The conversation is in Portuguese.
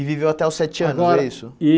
E viveu até os sete anos, Agora É isso?